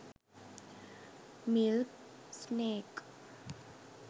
milk snake